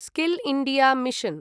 skill India mission